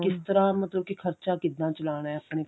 ਕਿਸ ਤਰ੍ਹਾਂ ਮਤਲਬ ਕੀ ਖਰਚਾ ਕਿੱਦਾਂ ਚਲਾਉਣਾ ਏ ਆਪਣੇ